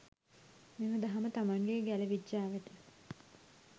මෙම දහම තමන්ගේ ගැල විජ්ජාවට